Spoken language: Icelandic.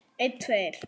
Hann bjó í Róm.